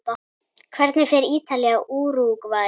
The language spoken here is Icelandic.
Hvernig fer Ítalía- Úrúgvæ?